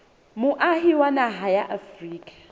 moahi wa naha ya afrika